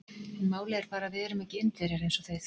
En málið er bara að við erum ekki Indverjar eins og þið.